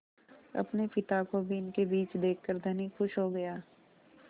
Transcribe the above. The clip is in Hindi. अपने पिता को भी इनके बीच देखकर धनी खुश हो गया